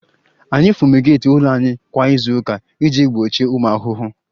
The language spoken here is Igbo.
Anyị fumigeeti ụlọ anyị kwa izu ụka iji gbochie ụmụ ahụhụ